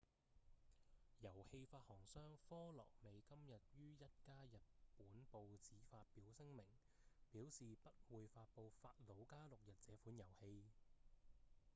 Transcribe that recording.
遊戲發行商科樂美今日於一家日本報紙發表聲明表示不會發表《法魯加六日》這款遊戲